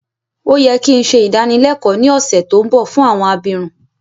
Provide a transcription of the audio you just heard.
Ó yẹ ki n se ìdánilẹ́kọ ni ọ̀ṣẹ̀ to nbọ fún àwọn abirun